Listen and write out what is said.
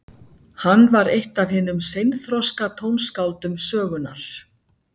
Hann var eitt af hinum seinþroska tónskáldum sögunnar.